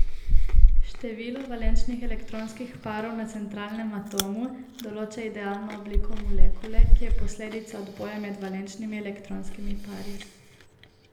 Število valenčnih elektronskih parov na centralnem atomu določa idealno obliko molekule, ki je posledica odboja med valenčnimi elektronskimi pari.